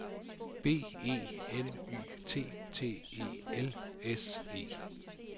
B E N Y T T E L S E